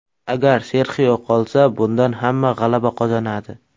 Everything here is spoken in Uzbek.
Agar Serxio qolsa, bundan hamma g‘alaba qozonadi.